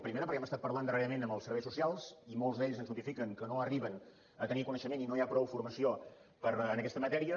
primera perquè hem estat parlant darrerament amb els serveis socials i molts d’ells ens notifiquen que no arriben a tenir coneixement i no hi ha prou formació en aquesta matèria